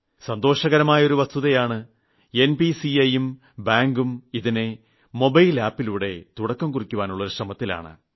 സന്തോഷകരമായ ഒരു വസ്തുതയാണ് എൻപിസിഐ ഉം ബാങ്കും ഇതിനെ മൊബൈൽ App ലൂടെ തുടക്കം കുറിക്കുവാനുള്ള ശ്രമത്തിലാണ്